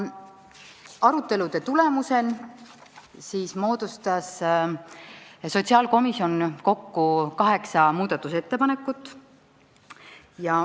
Arutelude tulemusel moodustas sotsiaalkomisjon kokku kaheksa muudatusettepanekut.